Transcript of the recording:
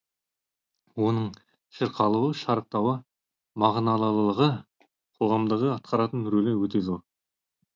оның шырқалуы шарықтауы мағыналылығы қоғамдағы атқаратын рөлі өте зор